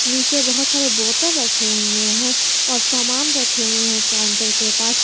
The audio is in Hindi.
नीचे बहोत सारे बोतल रखे हुए हैं और सामान रखे हुए हैं काउंटर के पास।